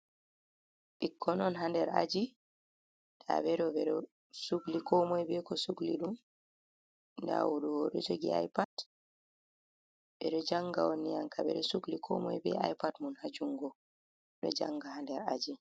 Bikkon on ha ɗer aji tabedo beɗo sugli komoi beko sugli dum, dah odoh oɗo jogi ipad beɗo janga on ni ankam beɗo sukli komoi bé ipad mun hajungo ɗoh janga ha nder aji.